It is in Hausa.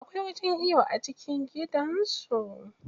Akwai wajen iyo a cikin gidansu.